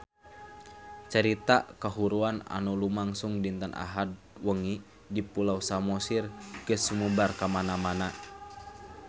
Carita kahuruan anu lumangsung dinten Ahad wengi di Pulau Samosir geus sumebar kamana-mana